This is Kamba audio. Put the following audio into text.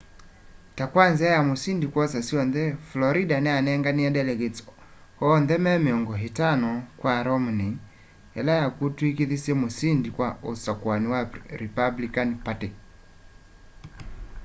ta kwa nzia ya musindi kwosa syonthe florida niyanenganie delegates oonthe me miongo itano kwa romney ila yakutwikithisye musĩndi wa usakũani wa republican party